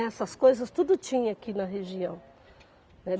Essas coisas tudo tinha aqui na região.